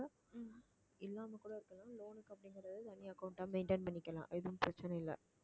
இல்லாம கூட இருக்கலாம் loan க்கு அப்படிங்கறது தனி account ஆ maintain பண்ணிக்கலாம் எதுவும் பிரச்சனை இல்லை